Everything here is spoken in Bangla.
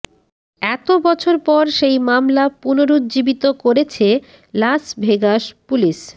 এত বছর পর সেই মামলা পুনরুজ্জীবিত করেছে লাস ভেগাস পুলিশ